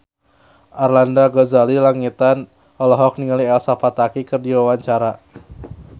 Arlanda Ghazali Langitan olohok ningali Elsa Pataky keur diwawancara